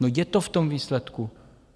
No, je to v tom výsledku!